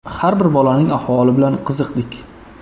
Har bir bolaning ahvoli bilan qiziqdik.